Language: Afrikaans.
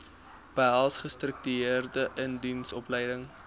behels gestruktureerde indiensopleiding